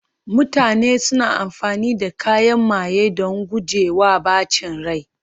mutane suna amfani da kayan maye don guje wa ɓacin rai